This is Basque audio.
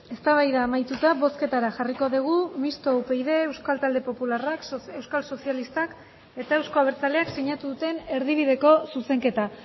eztabaida amaituta bozketara jarriko dugu mistoa upyd euskal talde popularrak euskal sozialistak eta euzko abertzaleak sinatu duten erdibideko zuzenketa